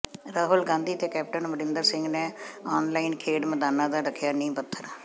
ਰਾਹੁਲ ਗਾਂਧੀ ਤੇ ਕੈਪਟਨ ਅਮਰਿੰਦਰ ਸਿੰਘ ਨੇ ਆਨਲਾਈਨ ਖੇਡ ਮੈਦਾਨ ਦਾ ਰੱਖਿਆ ਨੀਂਹ ਪੱਥਰ